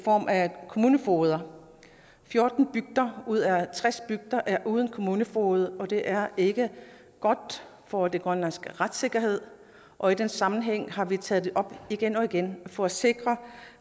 form af kommunefogeder fjorten bygder ud af tres bygder er uden kommunefoged og det er ikke godt for den grønlandske retssikkerhed og i den sammenhæng har vi taget det op igen og igen for at sikre